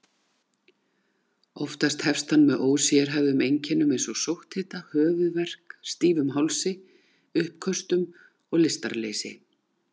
Oftast hefst hann með ósérhæfðum einkennum eins og sótthita, höfuðverk, stífum hálsi, uppköstum og lystarleysi.